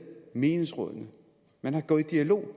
menighedsrådene man er gået i dialog